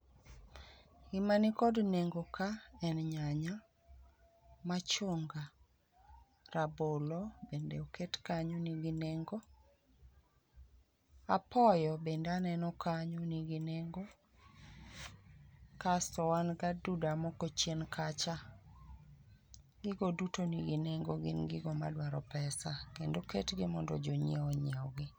Gima ni gi nengo ka en nyanya, machunga, rabolo bende oket kanyo ni gi nengo apoyo bende ni kanyo ni gi nengo kasto wan gi aduda moko chien ka cha gigo duto ni gi nengo gin gi go ma dwa pesa kendo oket gi mondo jo nyiewo o nyiew gi.